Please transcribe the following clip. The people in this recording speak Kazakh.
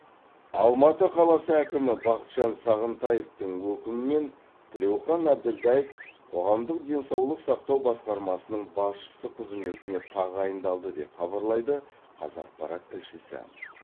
алматы қаласы әкімі бақытжан сағынтаевтың өкімімен тілеухан әбілдаев қоғамдық денсаулық сақтау басқармасының басшысы қызметіне тағайындалды деп хабарлайды қазақпарат тілшісі